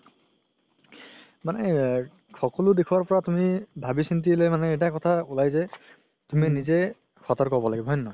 মানে সকলো দিখৰ পৰা তুমি ভাবি চিন্তিলে এটা কথা উলাই যে তুমি নিজে সতৰ্ক হ'ব লাগিব হয় নে নহয়